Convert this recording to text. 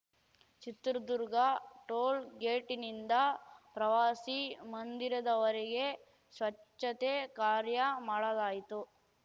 Chitradurga toll ಗೇಟಿನಿಂದ ಪ್ರವಾಸಿ ಮಂದಿರದವರೆಗೆ ಸ್ವಚ್ಛತೆ ಕಾರ್ಯ ಮಾಡಲಾಯಿತು